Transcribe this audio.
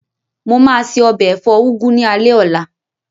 Mo máa se ọbẹ̀ ẹ̀fọ́ úgú ní alé ọ̀la.